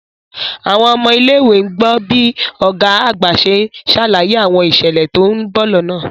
Àwọn ọmọ ilé ìwé ń gbọ́ bí Ọ̀gá àgbà ṣe ń ṣàlàyé àwọn ìṣẹ̀lẹ̀ tó ń bọ̀ lọ́nà